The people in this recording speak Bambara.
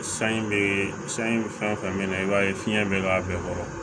Sanji bɛ san in fɛn fɛn mɛn i b'a ye fiɲɛ bɛ k'a bɛɛ kɔrɔ